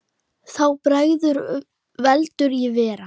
Þá bregður heldur í verra.